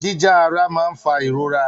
Jíjá ara máa ń fa ìrora.